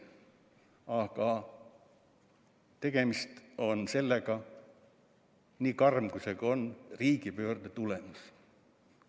Aga tegemist on – nii karm, kui see ka pole – riigipöörde tulemusega.